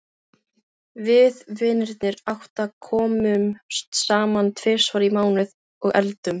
Við vinirnir átta komum saman tvisvar í mánuði og eldum.